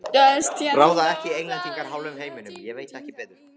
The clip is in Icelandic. Ráða ekki Englendingar hálfum heiminum, ég veit ekki betur.